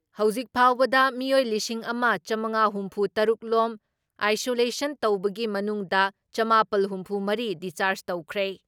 ꯍꯧꯖꯤꯛ ꯐꯥꯎꯕꯗ ꯃꯤꯑꯣꯏ ꯂꯤꯁꯤꯡ ꯑꯃ ꯆꯥꯝꯉꯥ ꯍꯨꯝꯐꯨ ꯇꯔꯨꯛ ꯔꯣꯝ ꯑꯥꯏꯁꯣꯂꯦꯁꯟ ꯇꯧꯕꯒꯤ ꯃꯅꯨꯡꯗ ꯆꯃꯥꯄꯜ ꯍꯨꯝꯐꯨ ꯃꯔꯤ ꯗꯤꯁꯆꯔꯥꯖ ꯇꯧꯈ꯭ꯔꯦ ꯫